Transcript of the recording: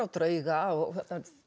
drauga og